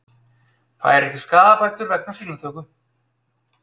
Fær ekki skaðabætur vegna sýnatöku